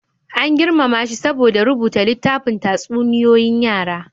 An girmama shi saboda rubuta littafin tatsuniyoyin yara.